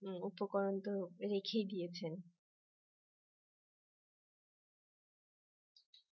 উপক্রান্ত রেখেই দিয়েছেন